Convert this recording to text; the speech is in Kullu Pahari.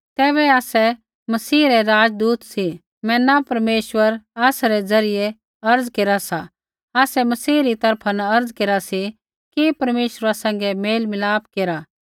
तैबै आसै मसीह रै राजदूत सी मैना परमेश्वर आसरै द्वारा अर्ज़ केरा सा आसै मसीही री तरफा न अर्ज़ा केरा सी कि परमेश्वरा सैंघै मेलमिलाप केरा